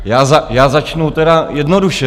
Já začnu tedy jednoduše.